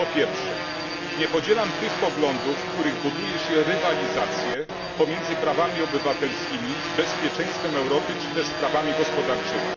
Po pierwsze, nie podzielam tych poglądów, w których buduje się rywalizację pomiędzy prawami obywatelskimi, bezpieczeństwem Europy czy też sprawami gospodarczymi.